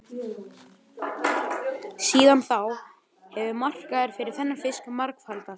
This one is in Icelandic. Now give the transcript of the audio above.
Síðan þá hefur markaður fyrir þennan fisk margfaldast.